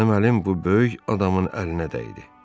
Mənim əlim bu böyük adamın əlinə dəydi.